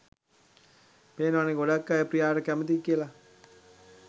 පේනවනෙ ගොඩක් අය ප්‍රියාට කැමති කියල.